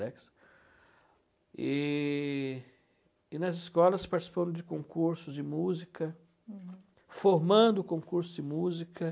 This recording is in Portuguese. E e nas escolas participaram de concursos de música, uhum, formando concursos de música.